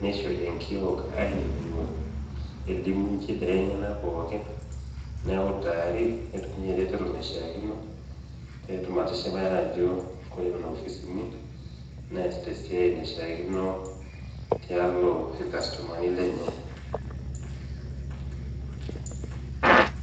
neishori enkiok aininigu elimu inchidai enyena pooki, neutari eretoto naishaakino ,pee etum atishipai ajo Kore Nena kopisini inyi neasita esiai naishaakino tialo ilkastomani lenye.